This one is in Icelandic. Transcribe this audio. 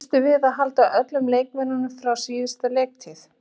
Býstu við að halda öllum leikmönnum frá síðustu leiktíð?